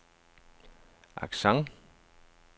accent